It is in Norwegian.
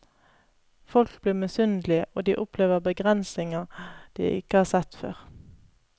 Folk blir misunnelige, og de opplever begrensninger de ikke har sett før.